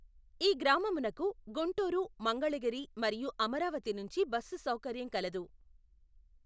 ఈ గ్రామమునకు గుంటూరు మంగళగిరి మరియు అమరావతి నుంచి బస్సు సౌకర్యం కలదు.